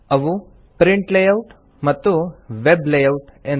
ಅವು print layout ಮತ್ತು web layout ಎಂದು